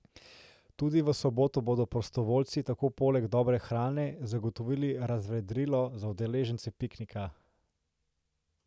Tudi v soboto bodo prostovoljci tako poleg dobre hrane zagotovili razvedrilo za udeležence piknika.